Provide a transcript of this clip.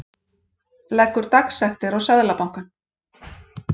Leggur dagsektir á Seðlabankann